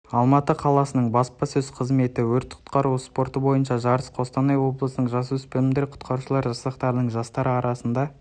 алматы қаласының баспасөз қызметі өрт құтқару спорты бойынша жарыс қостанай облысының жасөспірімдер құтқарушылар жасақтарының жастары арасында